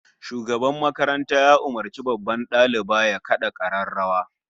Shugaban makaranta ya umurci babban daliba ya kada kararrawa